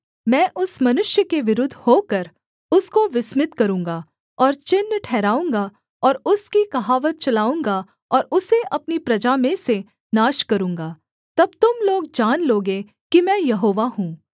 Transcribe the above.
मैं उस मनुष्य के विरुद्ध होकर उसको विस्मित करूँगा और चिन्ह ठहराऊँगा और उसकी कहावत चलाऊँगा और उसे अपनी प्रजा में से नाश करूँगा तब तुम लोग जान लोगे कि मैं यहोवा हूँ